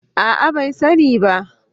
A'a bai sani ba